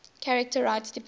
charter rights depend